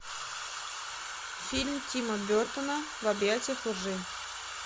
фильм тима бертона в объятиях лжи